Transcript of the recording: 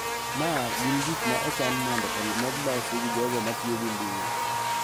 Ma gin gik ma ochan mondo omed losi gi jogo ma tiyo gi mbui.